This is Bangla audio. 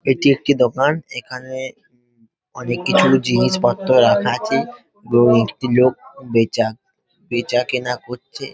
এটি একটি দোকান | এখানে অনেক কিছু জিনিসপত্র রাখা আছে | এবং একটি লোক বেচা বেচাকেনা করছে ।